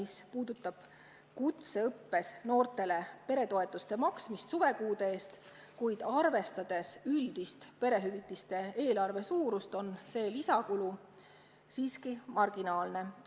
See puudutab kutseõppes noortele lapsetoetuse maksmist suvekuude eest, kuid arvestades üldist perehüvitiste eelarve suurust on see lisakulu marginaalne.